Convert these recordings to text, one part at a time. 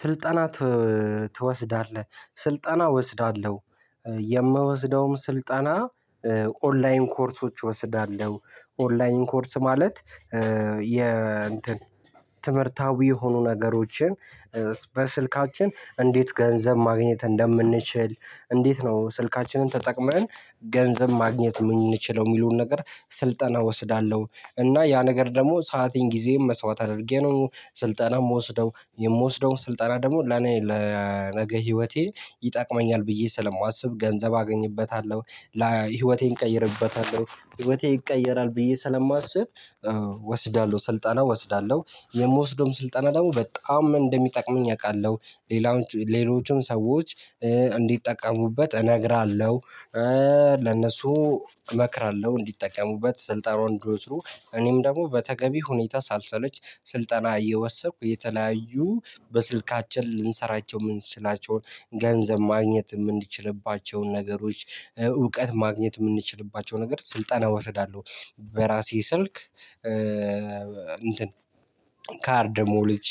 ስልጠና ትወስዳለህ? ስልጠና እወስዳለሁ የምወስደውም ስልጠና ኦንላይን ኮርሶች እወስዳለሁ ኦንላይን ኮርስ ማለት የ እንትን ትምህርታዊ የሆኑ ነገሮችን በስልካችን እንዴት ገንዘብ ማግኘት እንደምንችል እንዴት ነው ስልካችንን ተጠቅመን ገንዘብ ማግኘት የምንችለው የሚሉን ነገር ስልጠና ወስዳለሁ። እና ያ ነገር ደግሞ ሰአቴን ጊዜዬን መስዋዕት አድርጌ ነው ስልጠና ምወስደው የምወስደውን ስልጠና ደግሞ ለኔ ለነገ ህይወቴ ይጠቅመኛል ብዬ ስለማስብ ገንዘብ አገኝበታለሁ ላይ ህይወቴን እቀይርበታለሁ ህይወቴ ይቀየራል ብዬ ስለማስብ እወስዳለሁ ስልጠና ወስዳለሁ የምወስደውም ስልጠና ደግሞ በጣም እንደሚጠቅመኝ አውቃለሁ። ሌሎችም ሰዎች እንዲጠቀሙበት እነግራለሁ። ለነሱ እመክራለሁ እንዲጠቀሙበት ስልጠናውን እንዲወስዱ እኔም ደግሞ በተገቢ ሁኔታ ሳልሰለች ስልጠና እየወሰድኩ የተለያዩ በስልካችን ልንሰራቸው የምንችላቸውን ገንዘብ ማግኘት የምንችልባቸውን ነገሮች እውቀት ማግኘት የምንችልባቸው ነገር ስልጠና እወስዳለሁ። በራሴ ስልክ እንትን ካርድ ሞልቼ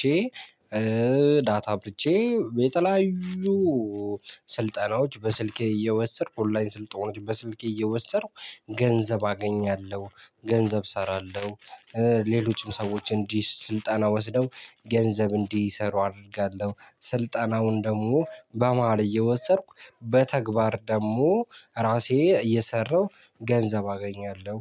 ዳታ አብርቼ የተለያዩ ስልጠናዎች በስልኬ እየወሰድኩ ኦንላይን ስልጠናዎች በስልኬ እየወሰድኩ ገንዘብ አገኛለሁ ገንዘብ እሰራለሁ። ሌሎችም ሰዎች እንዲህ ስልጣና ወስደው ገንዘብ እንዲሰሩ አደርጋለሁ ስልጣናውን ደግሞ በመሃል እየወሰድኩ በተግባር ደግሞ ራሴ እየሰራሁ ገንዘብ አገኛለሁ።